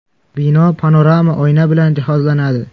Bino panorama oyna bilan jihozlanadi.